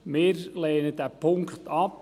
Wir lehnen diesen Punkt ab.